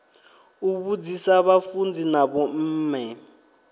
u vhudzisa vhafunzi na vhomme